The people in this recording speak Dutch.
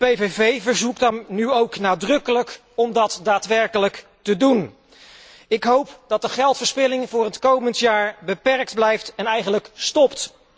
De PVV verzoekt dan nu ook nadrukkelijk om dat daadwerkelijk te doen. Ik hoop dat de geldverspilling voor het komend jaar beperkt blijft en eigenlijk stopt.